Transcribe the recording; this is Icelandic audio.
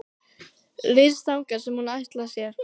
Ryðst þangað sem hún ætlar sér.